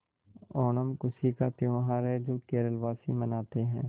ओणम खुशी का त्यौहार है जो केरल वासी मनाते हैं